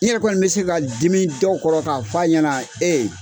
I yɛrɛ kɔni bɛ se ka dimi dɔw kɔrɔ k'a f'a ɲɛna